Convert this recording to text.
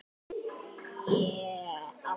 Stundum allt í senn.